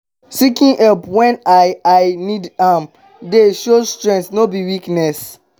seeking help wen i i need am dey show strength no be weakness.